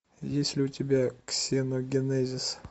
есть ли у тебя ксеногенезис